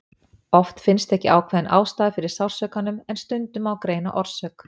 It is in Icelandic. oft finnst ekki ákveðin ástæða fyrir sársaukanum en stundum má greina orsök